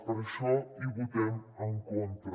per això hi votem en contra